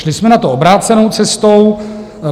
Šli jsme na to obrácenou cestou.